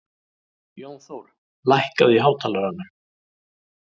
Jónþór, lækkaðu í hátalaranum.